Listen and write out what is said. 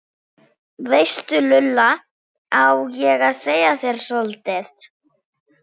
veistu Lulla, á ég að segja þér soldið?